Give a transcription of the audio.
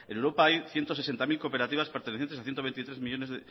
europa hay ciento sesenta mil cooperativas